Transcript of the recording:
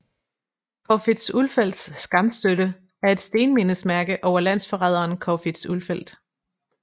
Corfitz Ulfeldts skamstøtte er et stenmindesmærke over landsforræderen Corfitz Ulfeldt